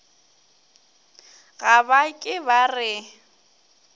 ga ba ke ba re